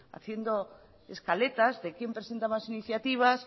haciendo escaletas de quién presenta más iniciativas